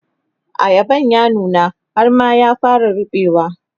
ayaban ya nuna har ma ya fara ruɓewa